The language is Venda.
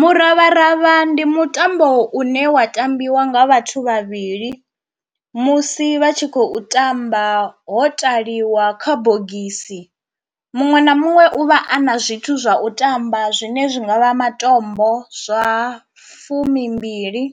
Muravharavha ndi mutambo une wa tambiwa nga vhathu vhavhili musi vha tshi khou tamba ho takaliwa kha bogisi, muṅwe na muṅwe u vha a na zwithu zwa u tamba zwine zwi nga vha matombo zwa fumimbili,